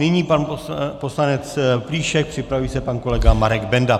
Nyní pan poslanec Plíšek, připraví se pan kolega Marek Benda.